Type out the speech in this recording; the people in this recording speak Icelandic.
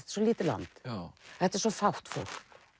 svo lítið land þetta er svo fátt fólk